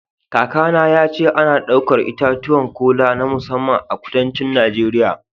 Kakana ya ce ana ɗaukar itatuwan kola na musamman a kudancin Najeriya